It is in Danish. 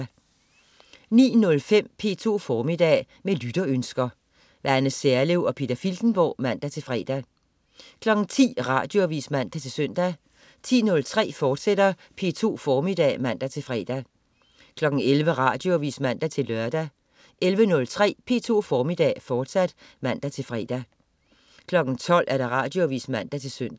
09.05 P2 Formiddag. Med lytterønsker. Anne Serlev og Peter Filtenborg (man-fre) 10.00 Radioavis (man-søn) 10.03 P2 Formiddag, fortsat (man-fre) 11.00 Radioavis (man-lør) 11.03 P2 Formiddag, fortsat (man-fre) 12.00 Radioavis (man-søn)